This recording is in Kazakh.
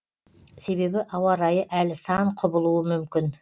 себебі ауа райы әлі сан құбылуы мүмкін